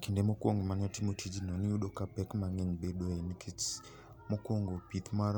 Kinde mokwongo mane watimo tijno niyudo ka pek mang'eny bedoe, nikech mokwongo pith mar